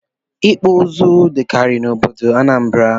Ịkpụ ụzụ dịkarị n'obodo Anambra